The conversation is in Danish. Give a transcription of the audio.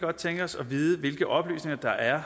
godt tænke os at vide hvilke oplysninger der er